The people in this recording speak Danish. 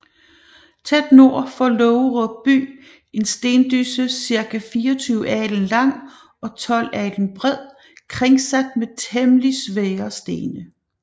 Tæt nord for Laagerup By en Stendysse circa 24 Alen lang og 12 Alen bred kringsat med temmelig svære Stene